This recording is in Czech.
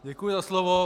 Děkuji za slovo.